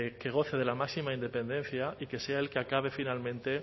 que goce de la máxima independencia y que sea el que acabe finalmente